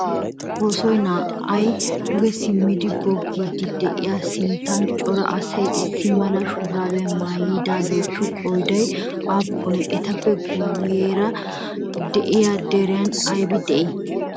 Soossoy naa"ay duge simmidi goggiiddi diyagaa sinttan cora asay issi mala shuraabiya mayidaageetu qooday aappunee? Etappe guyyeera diya daran ayibi dii?